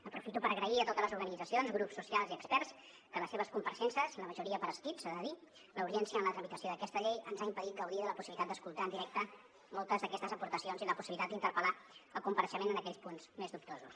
aprofito per agrair a totes les organitzacions grups socials i experts les seves compareixences la majoria per escrit s’ha de dir perquè la urgència en la tramitació d’aquesta llei ens ha impedit gaudir de la possibilitat d’escoltar en directe moltes d’aquestes aportacions i la possibilitat d’interpel·lar el compareixent en aquells punts més dubtosos